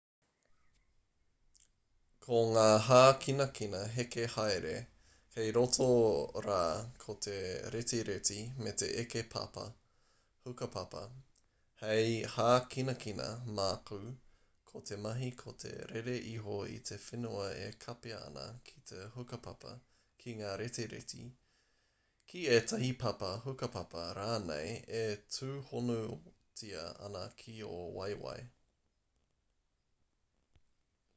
ko ngā hākinakina heke haere kei roto rā ko te retireti me te eke papa hukapapa he hākinakina makau ko te mahi ko te rere iho i te whenua e kapia ana ki te hukapapa ki ngā retireti ki tētahi papa hukapapa rānei e tūhonotia ana ki ō waeawae